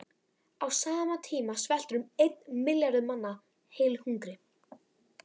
Á sama tíma sveltur um einn milljarður manna heilu hungri.